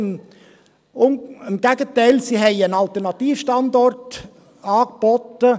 Im Gegenteil, sie hat einen Alternativstandort angeboten.